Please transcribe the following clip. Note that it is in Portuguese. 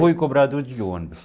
Fui cobrador de ônibus.